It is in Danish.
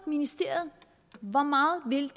ministeriet hvor meget vil